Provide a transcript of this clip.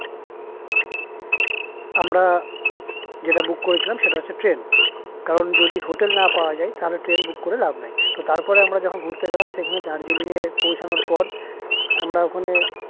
আমরা যেটা book করেছিলাম সেটা হচ্ছে train কারণ যদি hotel না পাই তবে train book করে লাভ নেই তারপর যখন আমরা ঘুরতে গেলাম তখন দার্জিলিং এ পৌঁছানোর পর আমরা ওখানে